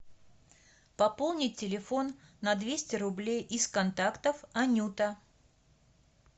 пополнить телефон на двести рублей из контактов анюта